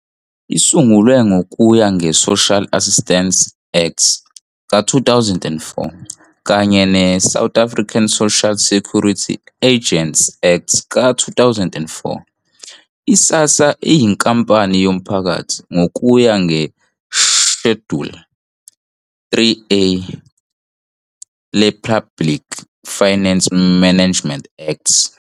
Isungulwe ngokuya nge-Social Assistance Act ka-2004 kanye ne-South African Social Security Agency Act ka-2004, i-SASSA iyinkampani yomphakathi ngokuya ngeShaduli 3A le-Public Finance Management Act.